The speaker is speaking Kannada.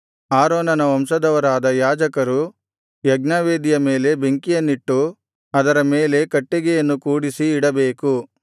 ಆರೋನನ ವಂಶದವರಾದ ಯಾಜಕರು ಯಜ್ಞವೇದಿಯ ಮೇಲೆ ಬೆಂಕಿಯನ್ನಿಟ್ಟು ಅದರ ಮೇಲೆ ಕಟ್ಟಿಗೆಯನ್ನು ಕೂಡಿಸಿ ಇಡಬೇಕು